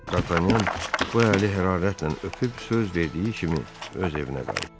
D'Artagnan bu əli hərarətlə öpüb söz verdiyi kimi öz evinə qayıtdı.